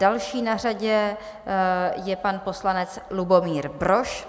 Další na řadě je pan poslanec Lubomír Brož.